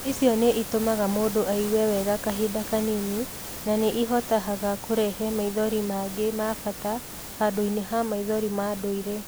Icio nĩ itũmaga mũndũ aigue wega kahinda kanini na nĩ ihotahaga kũrehe maithori mangĩ ma bata handũ-inĩ ha maithori ma ndũire.